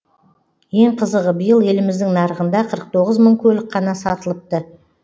ең қызығы биыл еліміздің нарығында қырық тоғыз мың көлік қана сатылыпты